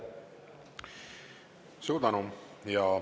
Suur tänu!